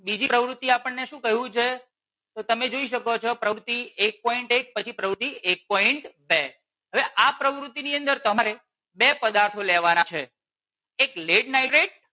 બીજી પ્રવૃતિ આપણને શું કહ્યું છે તો તમે જોઈ શકો છો પ્રવૃતિ એક પોઈન્ટ એક પછી પ્રવૃતિ એક પોઈન્ટ બે. હવે આ પ્રવૃતિ ની અંદર તમારે બે પદાર્થો લેવાના છે. એક lead nitrate